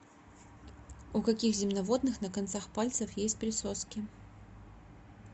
у каких земноводных на концах пальцев есть присоски